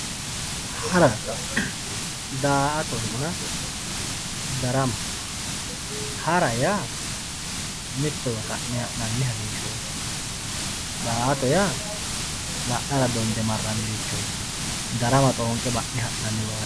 haranna daa'atonna darama hara yaa mittowa ka'ne ha'nanni harinshooti daa'ato yaa la'nara donde marrannirichooti darama xoonqe ba'ne ha'nanniwaati